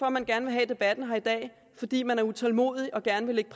at man gerne vil have debatten her i dag fordi man er utålmodig og gerne vil lægge